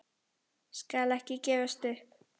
Skal ekki gefast upp.